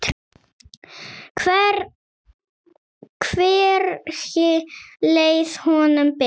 Hvergi leið honum betur.